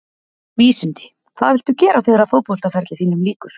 Vísindi Hvað viltu gera þegar að fótboltaferli þínum lýkur?